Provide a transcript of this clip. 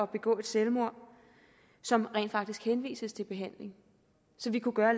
begå selvmord som rent faktisk henvises til behandling så vi kunne gøre